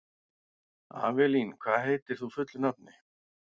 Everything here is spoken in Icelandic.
Avelín, hvað heitir þú fullu nafni?